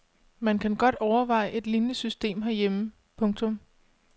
Man kan godt overveje et lignende system herhjemme. punktum